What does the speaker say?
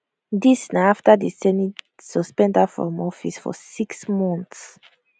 dis na afta di senate suspend her from office for six months